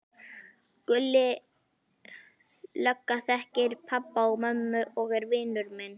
Gulli lögga þekkir pabba og mömmu og er vinur minn.